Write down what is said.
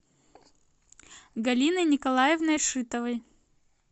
галиной николаевной шитовой